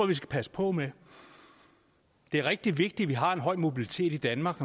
vi skal passe på med det er rigtig vigtigt at vi har en høj mobilitet i danmark